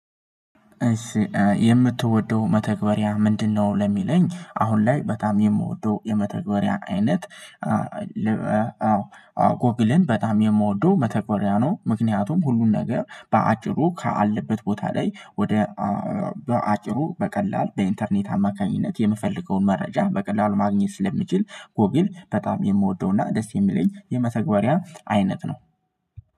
የምትወደው መተግበሪያ ምንድነው? ለሚለኝ አሁን ላይ በጣም የምወደው የመተግበሪያ አይነት አዎ ጎግልን በጣም የምወደው መተግበሪያ ነው። ምክንያቱም ሁሉን ነገር በአጭሩ ካለበት ቦታ ላይ ወደ በአጭሩ በቀላል በኢንተርኔት አማካኝነት የምፈልገውን መረጃ በቀላሉ ማግኘት ስለምችል። ጎግል በጣም የምወደውና ደስ የሚለኝ የመተግበሪያ አይነት ነው።